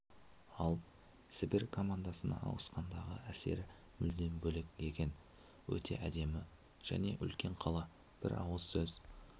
ал сібір командасына ауысқандағы әсері мүлдем бөлек екен өте әдемі және үлкен қала бір ауыз сөз